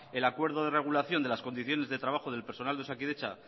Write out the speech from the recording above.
el acuerdo de regulación de las condiciones de trabajo del personal de osakidetza